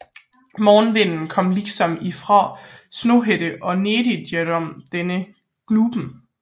Morgonvinden kom liksom ifraa Snohætta og nedigjenom denne Glupen